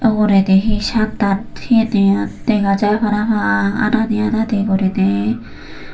uguredi he sattan he dega jar parapang adadi adadi guriney.